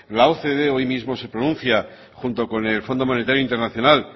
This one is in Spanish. la ocde hoy mismo se pronuncia junto con el fondo monetarios internacional